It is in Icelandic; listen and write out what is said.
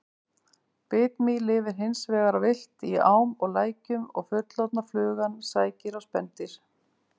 Bitmý lifir hins vegar villt í ám og lækjum og fullorðna flugan sækir á spendýr.